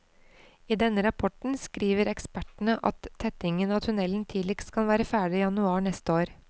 I denne rapporten skriver ekspertene at tettingen av tunnelen tidligst kan være ferdig januar neste år.